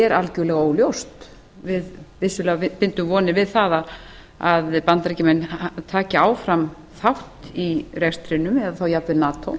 er algerlega óljóst við bindum vissulega vonir við það að bandaríkjamenn taki áfram þátt í rekstrinum eða á jafnvel nato